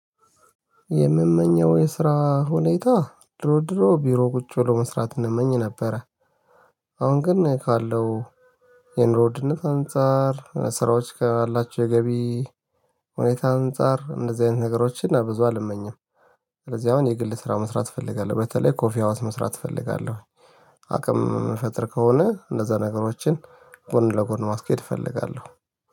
የምመኘው የስራ ሁኔታ ድሮ ድሮ ቢሮ ቁጭ ብሎ መስራት እንመኝ ነበረ። አሁን ግን ካለው የኑሮ ድህነት አንፃር ስራዎች ካላቸው የገቢ ሁኔታ አንፃር እንደዚህ አይነት ነገሮችን ብዙ አልመኝም። ስለዚህ አሁን የግል ስራ መስራት እፈልጋለሁ በተለይ ኮፊ ሀውስ መስራት እፈልጋለሁ። አቅም የምፈጥር ከሆነ እንደዛ ነገሮችን ጎን ለጎን ማስኬድ እፈልጋለሁ።